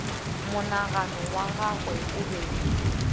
monagano wa gagwe o be